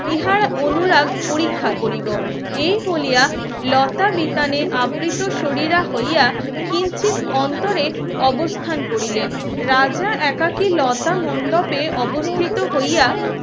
আমার অনুরাগ পরীক্ষা কৰিব এই বলিয়া লতা বিতানে আবৃত শরীরে হইয়া কিঞ্চিৎ অন্তরে অবস্থান করিলেন রাজা একাকী লতা মণ্ডপে অবস্থিত হইয়া